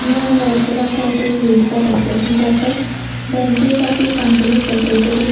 blue and white color cloth is used for decoration purpose the entrance of this function is decorated with--